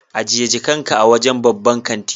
Ajiye jakarka a wajen babban kanti.